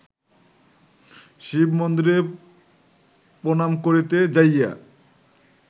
শিবমন্দিরে প্রণাম করিতে যাইয়া